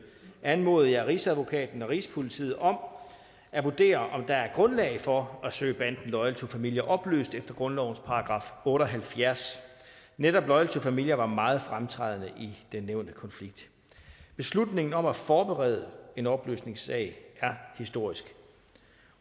anmodede jeg rigsadvokaten og rigspolitiet om at vurdere om der grundlag for at søge banden loyal to familia opløst efter grundlovens § otte og halvfjerds netop loyal to familia var meget fremtrædende i den nævnte konflikt beslutningen om at forberede en opløsningssag er historisk